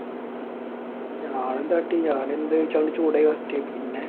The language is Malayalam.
ഞാൻ എന്ത് കാട്ടി? ഞാൻ അങ്ങട് ചൂടായ അവസ്ഥയായി. പിന്നെ.